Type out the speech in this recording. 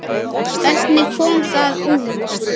Hvernig kom það út?